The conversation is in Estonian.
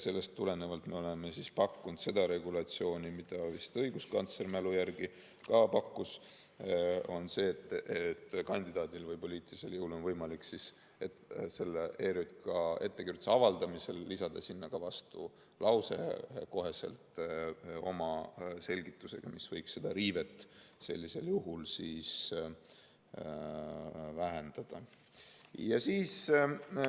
Sellest tulenevalt me oleme pakkunud seda regulatsiooni, mida vist pakkus ka õiguskantsler, minu mälu järgi, et kandidaadil või poliitilisel jõul on võimalik ERJK ettekirjutuse avaldamisel lisada sinna kohe ka vastulause oma selgitusega, mis võiks riivet sellisel juhul vähendada.